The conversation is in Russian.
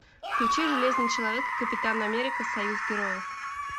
включи железный человек и капитан америка союз героев